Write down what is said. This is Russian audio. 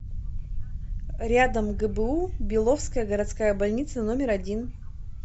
рядом гбу беловская городская больница номер один